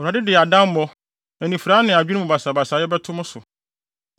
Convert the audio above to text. Awurade de adammɔ, anifurae ne adwene mu basabasayɛ bɛto mo so.